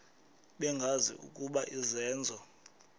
bengazi ukuba izenzo